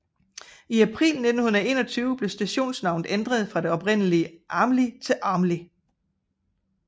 I april 1921 blev stationsnavnet ændret fra det oprindelig Aamli til Åmli